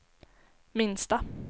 minsta